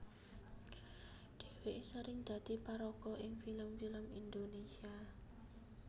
Dhèwèké sering dadi paraga ing film film Indonésia